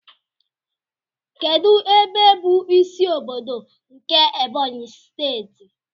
Kedụ ebe bụ ịsị ọbọdọ nke Ebonyi steeti?